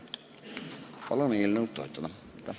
Palun eelnõu toetada!